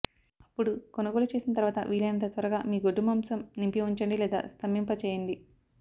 అప్పుడు కొనుగోలు చేసిన తరువాత వీలైనంత త్వరగా మీ గొడ్డు మాంసం నింపి ఉంచండి లేదా స్తంభింపచేయండి